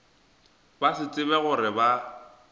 ba se tsebe gore ba